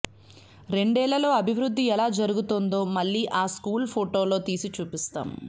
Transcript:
రెండేళ్లలో అభివృద్ధి ఎలా జరిగిందో మళ్లీ ఆ స్కూళ్ల ఫొటోలు తీసి చూపిస్తాం